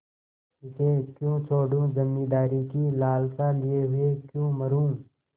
इसे क्यों छोडूँ जमींदारी की लालसा लिये हुए क्यों मरुँ